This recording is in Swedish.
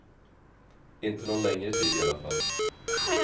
Inte någon längre tid i alla fall.